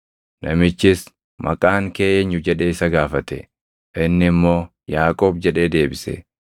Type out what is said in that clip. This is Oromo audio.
Namichis, “Maqaan kee eenyu” jedhee isa gaafate. Inni immoo, “Yaaqoob” jedhee deebise.